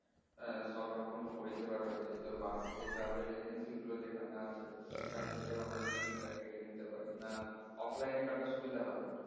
হ্যাঁ সবরকমই পরিষেবা রয়েছে তো bus এর যে travel agency গুলো যেখানে আছে সেখান থেকেও আমরা ticket টা কেটে নিতে পারি না offline এ কাটা সুবিধা হবে?